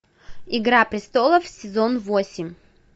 игра престолов сезон восемь